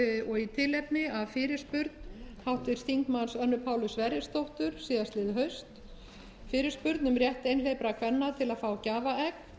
og í tilefni af fyrirspurn háttvirts þingmanns önnu pálu sverrisdóttur síðastliðið haust fyrirspurn um rétt einhleypra kvenna til að fá gjafaegg